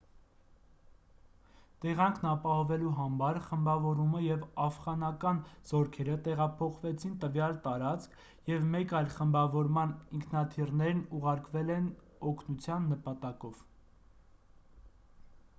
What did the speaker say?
տեղանքն ապահովելու համար խմբավորումը և աֆղանական զորքերը տեղափոխվեցին տվյալ տարածք և մեկ այլ խմբավորման ինքնաթիռներ ուղարկվել են օգնության նպատակով